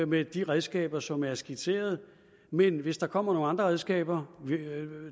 med de redskaber som er skitseret men hvis der kommer nogle andre redskaber